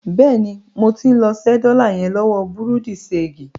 Bẹ́ẹ̀ni, mo ti ń lọ ṣẹ́ dọ́là yẹn lọ́wọ bùrúdì ṣeègì.